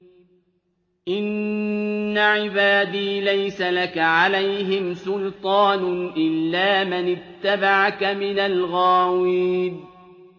إِنَّ عِبَادِي لَيْسَ لَكَ عَلَيْهِمْ سُلْطَانٌ إِلَّا مَنِ اتَّبَعَكَ مِنَ الْغَاوِينَ